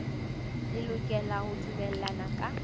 le lokela ho dumellana ka